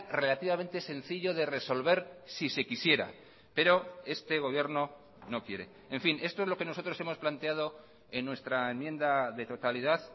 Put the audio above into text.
relativamente sencillo de resolver si se quisiera pero este gobierno no quiere en fin esto es lo que nosotros hemos planteado en nuestra enmienda de totalidad